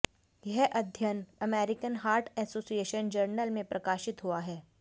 यह अध्ययन American heart association journal में प्रकाशित हुआ है